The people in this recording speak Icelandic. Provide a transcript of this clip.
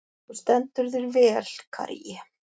Þú stendur þig vel, Karí!